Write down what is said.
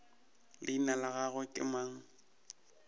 leina la gagwe ke mang